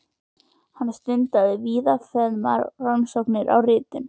Hann stundaði víðfeðmar rannsóknir á ritun